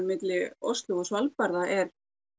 milli Osló og Svalbarða er